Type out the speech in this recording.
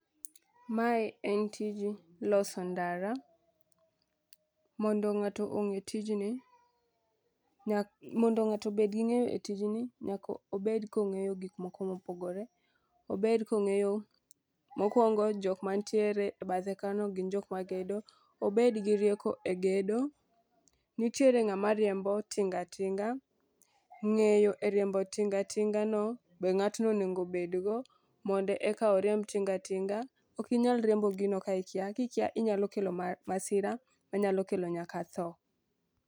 Mae en tij loso ndara mondo ng'ato ong'e tijni nya mondo ng'ato obed gi ng'eyo e tijni, nyako bed kong'eyo gik moko mopogore, obed kong'eyo mokwongo jok mantiere bathe kono gin jok magedo. Obed gi rieko e gedo nitiere ng'ama riembo tingatinga .Ng'eyo e riembo tingatinga no be ng'atno onego bedgo mondo eka oriemb tinga tinga. Ok inyal riembo gino ka ikia kikia inyalo kelo ma masira manyalo kelo nyaka tho.